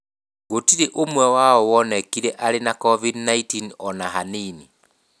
Gũtirĩ ũmwe wao wonekire arĩ na COVID-19 o na hanini.